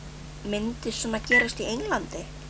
Myndi svona gerast í Englandi?